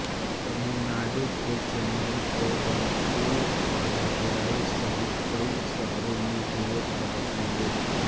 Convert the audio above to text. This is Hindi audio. तमिलनाडु के चेन्नई कोयबंटूर और मदुराई सहित कई शहरों में विरोध प्रदर्शन हुए